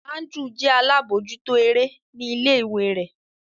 Andrew jẹ alabojuto ere ni ile-iwe rẹ.